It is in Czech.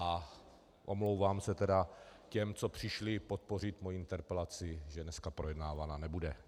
A omlouvám se tedy těm, co přišli podpořit moji interpelaci, že dneska projednávaná nebude.